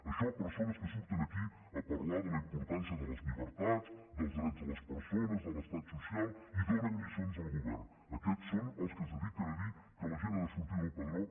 això persones que surten aquí a parlar de la importància de les llibertats dels drets de les persones de l’estat social i donen lliçons al govern aquests són els que es dediquen a dir que la gent ha de sortir del padró